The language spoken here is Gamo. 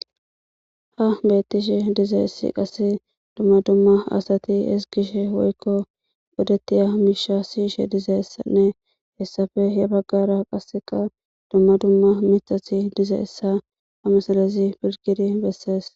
Haa bettishshe dizayiss qase dumma dumma asati ezzigishshe woyikko odetiya mishsha siyishshe dizayissene hessappe gede bagara qaa bettishshe dizayissakko.